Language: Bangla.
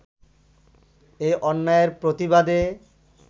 এ অন্যায়ের প্রতিবাদে